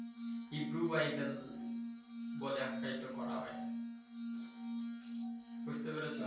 Hebrew Bible বলে আখ্যায়িত করা হয় । বুঝতে পেরেছ।